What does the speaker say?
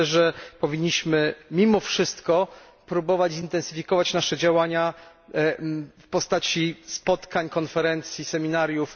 Myślę, że powinniśmy mimo wszystko próbować zintensyfikować nasze działania w postaci spotkań, konferencji, seminariów.